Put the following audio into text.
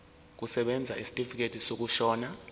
kusebenza isitifikedi sokushona